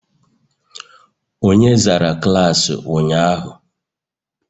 Onye zara klaasị ụnyahụ?